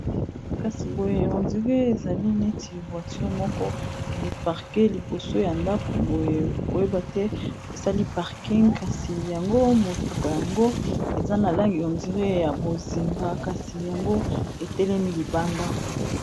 Kasi boye hondiré ezali neti voiture moko eparke liboso ya ndako boye okoyeba te esali parking kasi yango motuka yango eza na langi ondir ya bozinga kasi yango etelemi libanda.